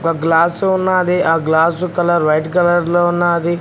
Glass ఉన్నది ఆ glass colour white colour లో ఉన్నది.